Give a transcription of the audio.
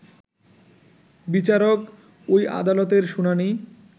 বিচারক ওই আদালতের শুনানি